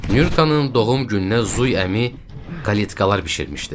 Nyurkanın doğum gününə Zuy əmi kaletkalar bişirmişdi.